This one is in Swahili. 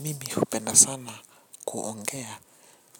Mimi hupenda sana kuongea